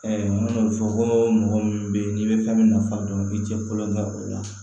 an y'o fɔ ko mɔgɔ min be yen n'i bɛ fɛn min nafa dɔn i bi cɛ kolon kɛ o la